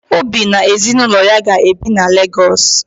Obi na ezinụlọ ya ga-ebi na Legọọsụ